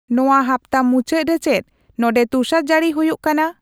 ᱱᱚᱶᱟ ᱦᱟᱯᱛᱟ ᱢᱩᱪᱟᱹᱫ ᱨᱮ ᱪᱮᱫ ᱱᱚᱱᱰᱮ ᱛᱩᱥᱟᱨᱡᱟᱹᱲᱤ ᱦᱩᱭᱩᱜ ᱠᱟᱱᱟ